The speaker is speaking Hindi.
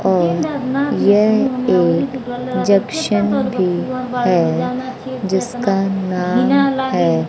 और यह एक जंक्शन भी है जिसका नाम है--